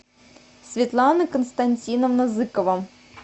светлана константиновна зыкова